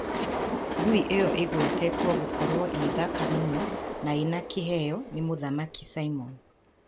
Ngui ĩyo ĩgwetetwo gũkorwo ĩthaka mũno na ina kĩheo ni Mũthamaki Simon